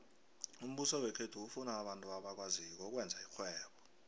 umbuso wekhethu ufuna abantu abakwaziko ukwenza irhwebo